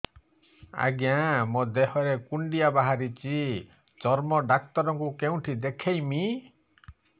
ଆଜ୍ଞା ମୋ ଦେହ ରେ କୁଣ୍ଡିଆ ବାହାରିଛି ଚର୍ମ ଡାକ୍ତର ଙ୍କୁ କେଉଁଠି ଦେଖେଇମି